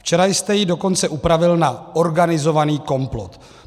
Včera jste ji dokonce upravil na organizovaný komplot.